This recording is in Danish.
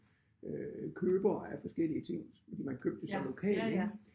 Øh købere af forskellige ting man købte så lokal ik